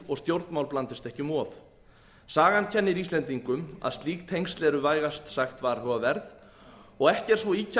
og stjórnmál blandist ekki um of sagan kennir íslendingum að slík tengsl eru vægast sagt varhugaverð og ekki er svo ýkja